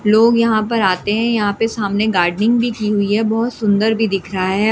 लोग यहां पर आते हैं यहां पर सामने गार्डनिंग भी की हुई है बहुत सुंदर भी दिख रहा है।